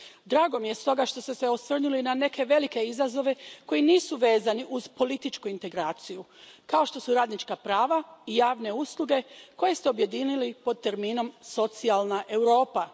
Drago mi je stoga što ste se osvrnuli na neke velike izazove koji nisu vezani uz političku integraciju, kao što su radnička prava i javne usluge, koje ste objedinili pod terminom socijalna Europa.